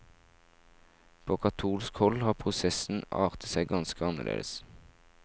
På katolsk hold har prosessen artet seg ganske annerledes.